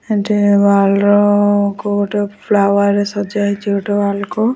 ଏଠି ୱାଲ ର କୋଉ ଗୋଟେ ଫ୍ଲାୱାର ରେ ସଜା ହେଇଚି କୋଉ ଗୋଟେ ୱାଲ୍ କୁ।